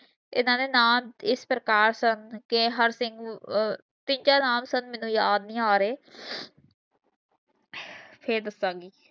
ਇਹਨਾਂ ਨੇ ਨਾਂ ਇਸ ਪ੍ਰਕਾਰ ਸੁਨ ਕੇ ਹਰ ਤੀਜਾ ਨਾਮ sir ਮੈਨੂੰ ਯਾਦ ਨਹੀਂ ਆਰੇ ਫੇਰ ਦੱਸਾਂਗੀ